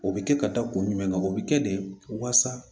O bɛ kɛ ka da kun jumɛn kan o bɛ kɛ de waasa